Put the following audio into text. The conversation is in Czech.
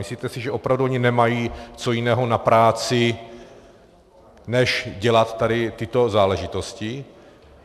Myslíte si, že opravdu oni nemají co jiného na práci, než dělat tady tyto záležitosti?